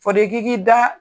Fɔdo ki k'i da